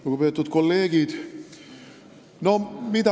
Lugupeetud kolleegid!